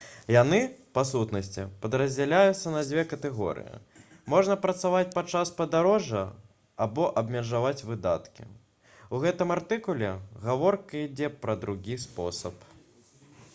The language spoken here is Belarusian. яны па сутнасці падраздзяляюцца на дзве катэгорыі можна працаваць падчас падарожжа або абмежаваць выдаткі у гэтым артыкуле гаворка ідзе пра другі спосаб